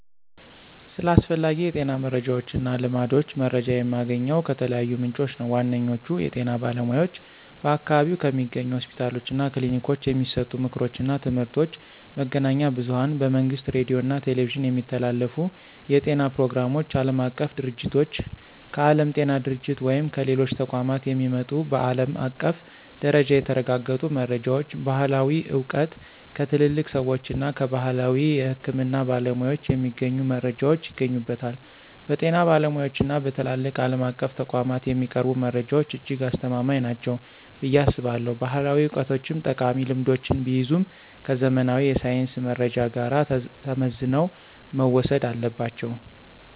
ስለ አስፈላጊ የጤና መረጃዎችና ልማዶች መረጃ የማገኘው ከተለያዩ ምንጮች ነው። ዋነኛዎቹ፦ የጤና ባለሙያዎች በአካባቢው ከሚገኙ ሆስፒታሎችና ክሊኒኮች የሚሰጡ ምክሮችና ትምህርቶች፣ መገናኛ ብዙኃን በመንግሥት ሬዲዮና ቴሌቪዥን የሚተላለፉ የጤና ፕሮግራሞች፣ ዓለም አቀፍ ድርጅቶች: ከዓለም ጤና ድርጅት ወይም ከሌሎች ተቋማት የሚመጡ በዓለም አቀፍ ደረጃ የተረጋገጡ መረጃዎች፣ ባሕላዊ ዕውቀት: ከትልልቅ ሰዎችና ከባሕላዊ የሕክምና ባለሙያዎች የሚገኙ መረጃዎች ይገኙበታል። በጤና ባለሙያዎችና በትላልቅ ዓለም አቀፍ ተቋማት የሚቀርቡ መረጃዎች እጅግ አስተማማኝ ናቸው ብዬ አስባለሁ። ባሕላዊ ዕውቀቶችም ጠቃሚ ልምዶችን ቢይዙም፣ ከዘመናዊ የሳይንስ መረጃ ጋር ተመዝነው መወሰድ አለባቸው።